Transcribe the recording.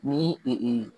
Ni